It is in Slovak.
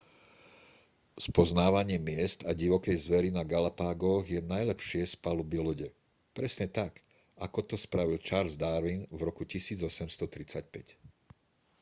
spoznávanie miest a divokej zveri na galapágoch je najlepšie z paluby lode presne tak ako to spravil charles darwin v roku 1835